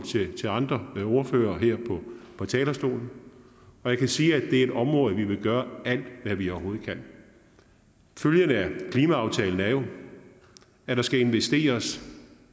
til andre ordførere her på talerstolen jeg kan sige at det er et område hvor vi vil gøre alt hvad vi overhovedet kan følgen af klimaaftalen er jo at der skal investeres